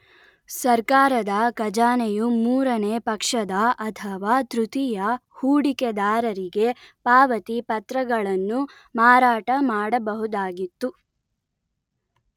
ಸರ್ಕಾರದ ಖಜಾನೆಯು ಮೂರನೇ ಪಕ್ಷದ ಅಥವಾ ತೃತೀಯ ಹೂಡಿಕೆದಾರರಿಗೆ ಪಾವತಿ ಪತ್ರಗಳನ್ನು ಮಾರಾಟಮಾಡಬಹುದಾಗಿತ್ತು